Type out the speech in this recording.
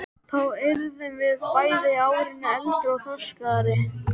Þá yrðum við bæði árinu eldri og þroskaðri.